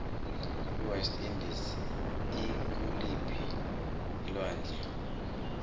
iwest indies ikuliphii alwandle